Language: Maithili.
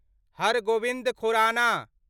हर गोबिन्द खुराना